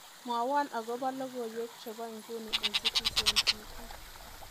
Mwowo akobo logoiwek chebo nguni eng Citizen t.v